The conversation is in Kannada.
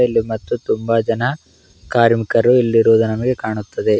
ಇಲ್ಲಿ ಮತ್ತು ತುಂಬಾ ಜನ ಕಾರ್ಮಿಕರು ಇಲ್ಲಿ ಇರುವುದು ನಮಗೆ ಕಾಣುತ್ತದೆ.